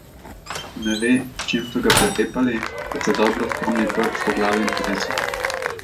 Ne ve, s čim so ga pretepali, a se dobro spomni brc po glavi in telesu.